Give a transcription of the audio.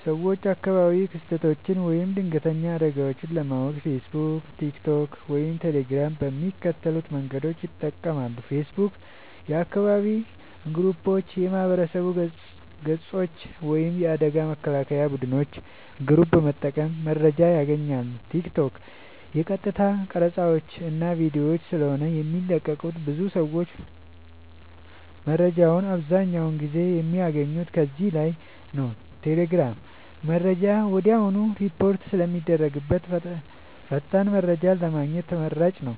ሰወች አካባቢያዊ ክስተቶች ወይም ድንገተኛ አደጋወች ለማወቅ ፌሰቡክ ቲክቶክ ወይም ቴሌግራም በሚከተሉት መንገዶች ይጠቀማሉ ፌሰቡክ :- የአካባቢ ግሩፖች የማህበረሰብ ገፆች ወይም የአደጋ መከላከያ ቡድኖች ግሩፕ በመጠቀም መረጃወችን ያገኛሉ ቲክቶክ :- የቀጥታ ቀረፃወች እና ቪዲዮወች ስለሆነ የሚለቀቁበት ብዙ ሰወች መረጃወችን አብዛኛውን ጊዜ የሚያገኙት ከዚህ ላይ ነዉ ቴሌግራም :-መረጃ ወድያውኑ ሪፖርት ስለሚደረግበት ፈጣን መረጃን ለማግኘት ተመራጭ ነዉ።